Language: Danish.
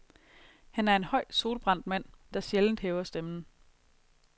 Han er en høj solbrændt mand, der sjældent hæver stemmen.